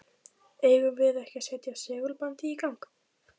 Eigum við ekki að setja segulbandið í gang?